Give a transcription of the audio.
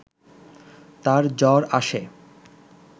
তার জ্বর আসে